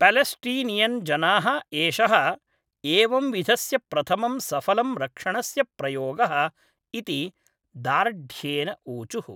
Palestinian जनाः एषः एवं विधस्य प्रथमं सफलं रक्षणस्य प्रयोगः इति दार्ढ्येन ऊचुः।